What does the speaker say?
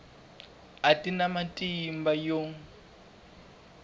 a ti na matimba yo